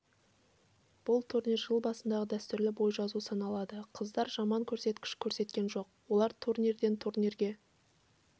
бұл турнир жыл басындағы дәстүрлі бой жазу саналады қыздар жаман көрсеткіш көрсеткен жоқ олар турнирден турнирге